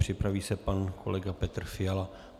Připraví se pan kolega Petr Fiala.